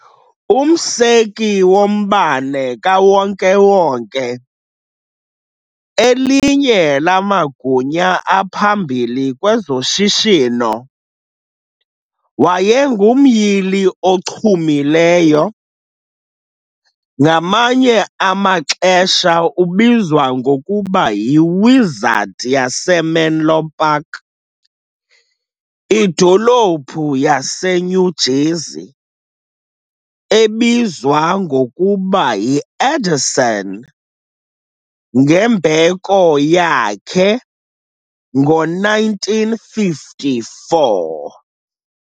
Umseki woMbane kaWonke-wonke, elinye lamagunya aphambili kwezoshishino, wayengumyili ochumileyo. Ngamanye amaxesha ubizwa ngokuba "yi-wizard yaseMenlo Park", idolophu yaseNew Jersey ebizwa ngokuba yi "Edison" ngembeko yakhe ngo-1954.